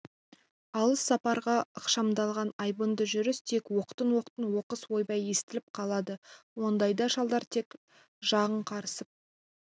алыс сапарға ықшамдалған айбынды жүріс тек оқтын-оқтын оқыс ойбай естіліп қалады ондайда шалдар тек жағың қарысып